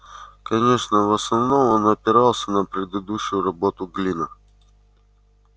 конечно в основном он опирался на предыдущую работу глина